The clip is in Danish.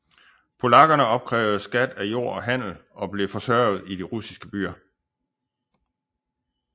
Polakkerne opkrævede skat af jord og handel og blev forsørget i de russiske byer